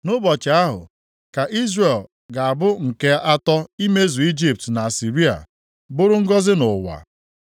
Nʼụbọchị ahụ ka Izrel ga-abụ nke atọ imezu Ijipt na Asịrịa, bụrụ ngọzị nʼụwa.